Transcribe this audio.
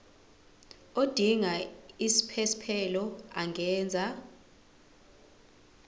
odinga isiphesphelo angenza